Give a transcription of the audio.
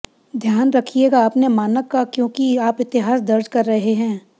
ध्यान रखिएगा अपने मानक का क्योंकि आप इतिहास दर्ज़ कर रहे हैं